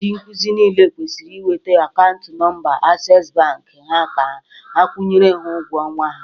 Ndị nkuzi niile kwesịrị ị weta akaụntụ nọmba Ases Bank ha ka akwụnyere ha ụgwọ ọnwa ha